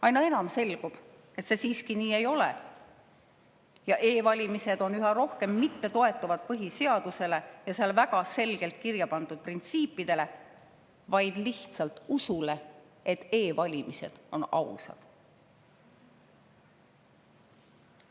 Aina enam selgub, et see siiski nii ei ole, e‑valimised üha rohkem ei toetu põhiseadusele ja seal väga selgelt kirja pandud printsiipidele, vaid need toetuvad lihtsalt usule, et e‑valimised on ausad.